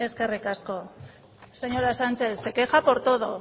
eskerrik asko señora sánchez se queja por todo